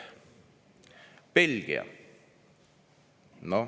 Belgia.